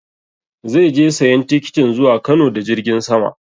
Zai je sayan tikitin zuwa Kano da jirgin sama